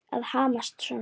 Að hamast svona.